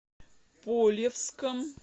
полевском